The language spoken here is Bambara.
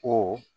Ko